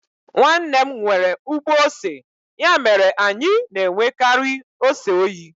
Nwanne m nwere ugbo ose, ya mere anyi na-enwekari ose oyi.